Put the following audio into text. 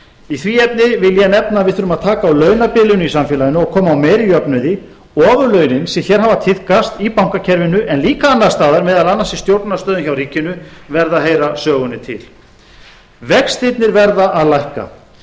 í því efni vil ég nefna að við þurfum að taka á launadeilum í samfélaginu og koma á meiri jöfnuði ofurlaunin sem hér hafa tíðkast í bankakerfinu en líka annars staðar meðal annars í stjórnunarstöðum hjá ríkinu verða að heyra sögunni til vextirnar verða að lækka